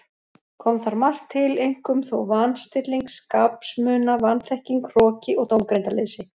Kom þar margt til, einkum þó van- stilling skapsmuna, vanþekking, hroki og dómgreindarleysi.